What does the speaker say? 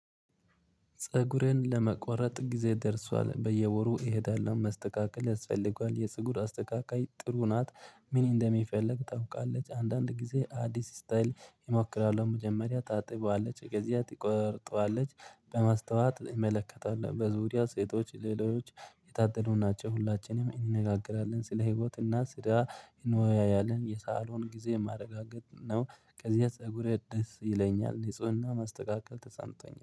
ፀጉሬን ለመቆረጥ ጊዜ ደርሷል። በየወሩ እሄዳለሁ። መስተካከል ያስፈልገዋል፣ የፀጉር አስተካካይ ጥሩ ናት፣ ምን እንደሚፈልግ ታውቃለች፣ አንዳንድ ጊዜ አዲስ ስታይል እሞክራለሁ። መጀመሪያ ታጥባለች፣ ከዚያ ትቆርጠዋለች፣ በማስተዋት እመለከተዋል፣ በዙሪያው ሴቶች ሌሎች የታጠቡ ናቸው፣ ሁላችንም እንነጋገራለን። ስለ ህይወት እና ስራ እንወያያለን። የሳሎን ጊዜ ማረጋገጥ ነው፣ ከዚህ ፀጉሬ ደስ ይለኛል፣ ንፁህና መስተካከል ተሰምቶኛል።